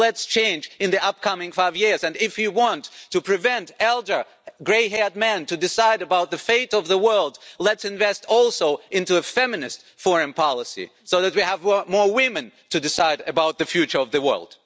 But let's change in the upcoming five years, and if you want to prevent elderly, grey haired man deciding about the fate of the world, let's invest also in a feminist foreign policy, so that we have more women to decide about the future of the world.